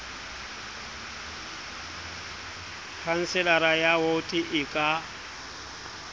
khanselara ya woto e ka